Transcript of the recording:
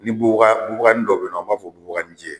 Ni bubaga bubaganin dɔ be yen nɔ, an b'a fɔ bubaganinjɛ